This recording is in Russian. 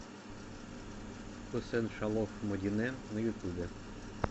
хусен шалов мадинэ на ютуб